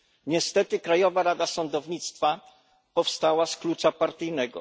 Niestety Krajowa Rada Sądownictwa powstała z klucza partyjnego.